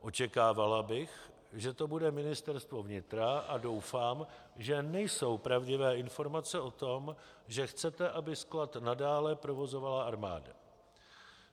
Očekávala bych, že to bude Ministerstvo vnitra, a doufám, že nejsou pravdivé informace o tom, že chcete, aby sklad nadále provozovala armáda.